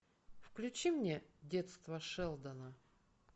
включи мне детство шелдона